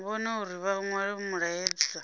vhone uri vha nwale mulaedza